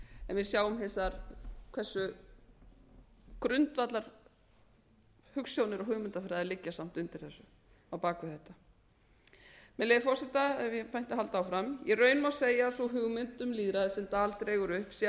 við sjáum hins vegar hversu grundvallarhugsjónir og hugmyndafræði liggja samt undir þessu á bak við þetta með leyfi forseta ef ég mætti halda áfram í raun má segja að sú hugmynd um lýðræði sem dahl dregur upp sé af lýðræði